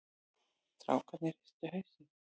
Strákarnir hristu hausinn.